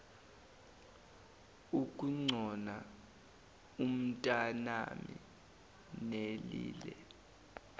ukugcona umntanami nelile